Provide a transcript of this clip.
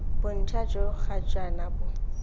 bontsha jo ga jaana bo